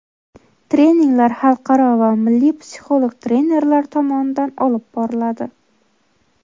Treninglar xalqaro va milliy psixolog trenerlar tomonidan olib boriladi.